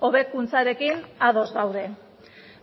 hobekuntzarekin ados gaude